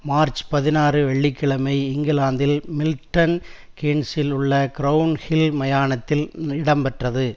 March பதினாறு வெள்ளி கிழமை இங்கிலாந்தில் மில்டன் கீன்ஸ்ஸில் உள்ள கிறவுண் ஹில் மயானத்தில் இடம்பெற்றது